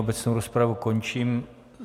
Obecnou rozpravu končím.